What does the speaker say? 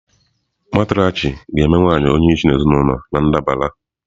Matriarchy ga-eme nwanyị onyeisi ezinụlọ na ndabara.